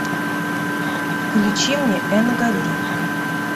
включи мне энга ли